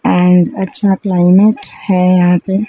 and अच्छा climate है यहां पे--